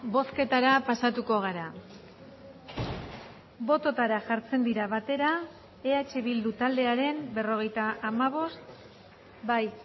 bozketara pasatuko gara bototara jartzen dira batera eh bildu taldearen berrogeita hamabost bai